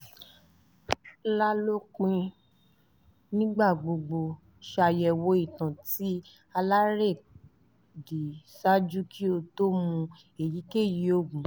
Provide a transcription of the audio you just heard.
*lalopin nigbagbogbo ṣayẹwo itan ti alerẹdi ṣaaju ki o to mu eyikeyi oogun